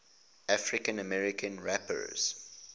african american rappers